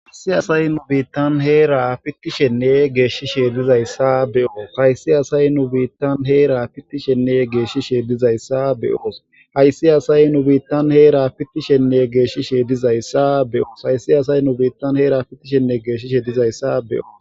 ayiasay n biittan heera ittishenne geeshshishe dizayssa beoohaysi asay nu biittan heera pittishenne geeshshishe dizayssa beyoos hayssi asay nu biittan heera pittishenne geeshshishe dizayssa beyoos hayssi asay nu biittan heera fittishenne geeshshishe dizayssa beyoos